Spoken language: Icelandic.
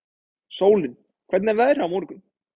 Sólín, hvernig er veðrið á morgun?